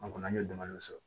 An kɔni an ye damadɔ sɔrɔ